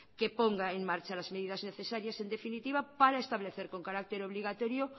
que ponga en marcha las medidas necesarias en definitiva para establecer con carácter obligatorio